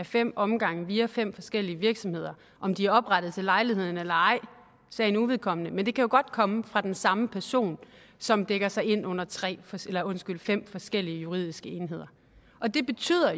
fem omgange via fem forskellige virksomheder om de er oprettet til lejligheden eller ej er sagen uvedkommende men det kan godt komme fra den samme person som dækker sig ind under fem forskellige juridiske enheder det betyder